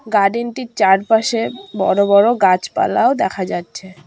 Garden -টির চারপাশে বড় বড় গাছপালাও দেখা যাচ্ছে।